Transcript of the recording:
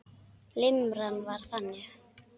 Limran var þannig: